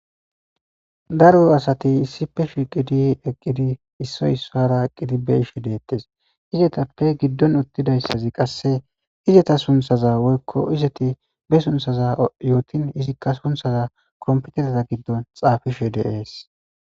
daro asati issife shiqidi eqqidi issoy issara eqqidi be ishe deettes izetappe giddon uttidayssazi qasse izeta sunthaza woykko izeti be sunthaza yootin izikka sunthaza kompetereta giddon xaafishe deees